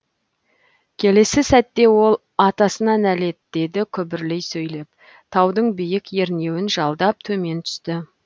келесі сәтте ол ой атасына нәлет деді күбірлей сөйлеп таудың биік ернеуін жалдап төмен түсті